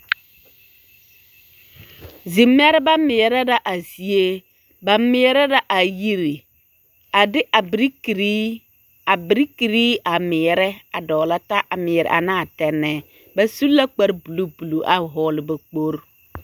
Zimeɛrɛbɛ meɛrɛ la a zie, ba meɛrɛ la a yiri a de a berekere, a berekere a meɛrɛ a dɔgelɔ taa a meɛrɛ anaa tɛnɛɛ, ba su la kpare buluu buluu a hɔɔle ba kpogiri.